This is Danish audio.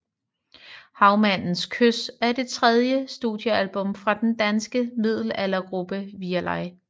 Havmandens kys er det tredje studiealbum fra den danske middelaldergruppe Virelai